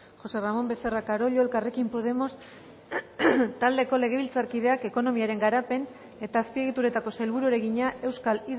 josé ramón becerra carollo elkarrekin podemos taldeko legebiltzarkideak ekonomiaren garapen eta azpiegituretako sailburuari egina euskal